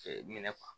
Ɲinɛ